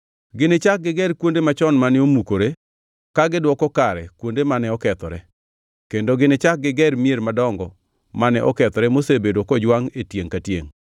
Ginichak giger kuonde machon mane omukore, ka gidwoko kare kuonde mane okethore, kendo ginichak giger mier madongo mane okethore mosebedo kojwangʼ e tiengʼ ka tiengʼ.